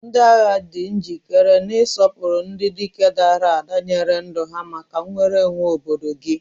Ndị agha di njikere, na-asọpụrụ ndị dike dara ada nyere ndụ ha maka nnwere onwe obodo gị.